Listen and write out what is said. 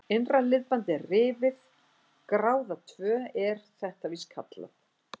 Innra liðbandið er rifið, gráða tvö er þetta víst kallað.